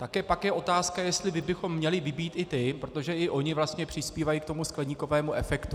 Tak je potom otázka, jestli bychom měli vybít i ty, protože i oni vlastně přispívají k tomu skleníkovému efektu.